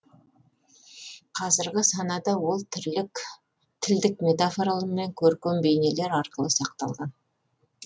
қазіргі санада ол тілдік метафоралар мен көркем бейнелер арқылы сақталған